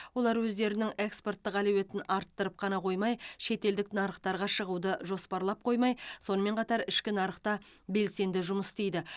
олар өздерінің экспорттық әлеуетін арттырып қана қоймай шетелдік нарықтарға шығуды жоспарлап қоймай сонымен қатар ішкі нарықта белсенді жұмыс істейді